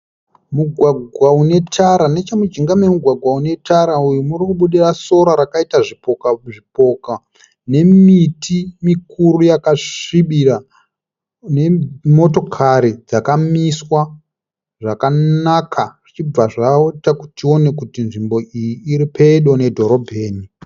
Mugwagwa une tara nechemujinga memugwagwa une tara uyu muri kubudira sora rakaita zvipoka zvipoka nemiti mikuru yakasvibira nemotokari dzakamiswa zvakanaka zvichibva zvaita kuti tione kuti nzvimbo iyi iri pedo nedhorobheni.